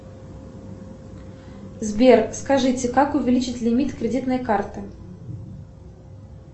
сбер скажите как увеличить лимит кредитной карты